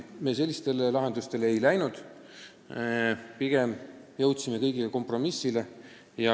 Millelegi sellisele me välja pole läinud, oleme kõigiga kompromissile jõudnud.